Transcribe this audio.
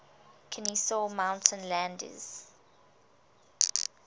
kenesaw mountain landis